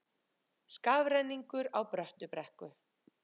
Skafrenningur á Bröttubrekku